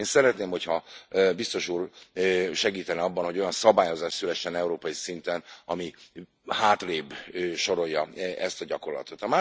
Én szeretném, hogyha Biztos úr segítene abban, hogy olyan szabályozás szülessen európai szinten, ami hátrébb sorolja ezt a gyakorlatot.